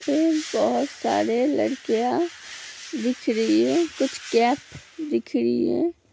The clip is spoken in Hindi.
बोहोत सारे लड़कियां दिखरी है | कुछ कैप दिखरी है।